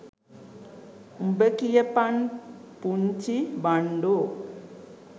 උබ කියපන් පුන්චි බන්ඩෝ